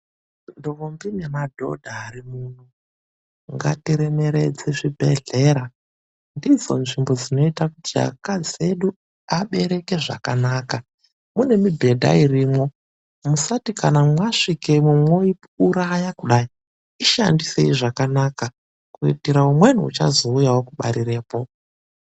Ndombi nemadhodha arimuno, ngatiremeredze zvibhedhlera. Ndidzo nzvimbo dzinoita kuti akadzi edu abereke zvakanaka. Mune mibhedha irimwo, musati kana masvikemwo moiuraya kudai. Ishandisei zvakanaka kuitire umweni uchazouyewo kubarirapo.